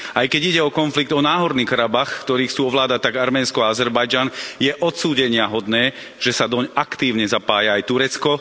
Aj keď ide o konflikt o Náhorný Karabach, ktorý chcú ovládať tak Arménsko, ako aj Azerbajdžan, je odsúdeniahodné, že sa doň aktívne zapája aj Turecko.